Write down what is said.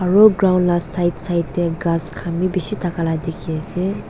aru ground la side side tey ghas khan bi bishi thaka la dikhi ase.